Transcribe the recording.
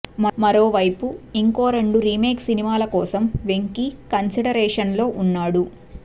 మరోవైపు ఇంకో రెండు రీమేక్ సినిమాల కోసం వెంకీ కన్సిడరేషన్లో ఉన్నాడు